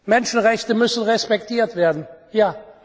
gut ja! Menschenrechte müssen respektiert werden